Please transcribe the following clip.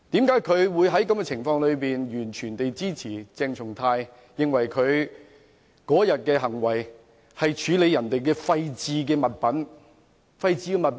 為何他會在這種情況下完全支持鄭松泰議員，認為他當天的行為只是處理別人的廢置物品？